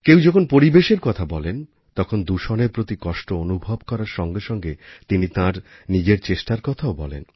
কেউ যখন পরিবেশের কথা বলেন তখন দূষণের প্রতি কষ্ট অনুভব করার সঙ্গে সঙ্গে তিনি তাঁর নিজের চেষ্টার কথাও বলেন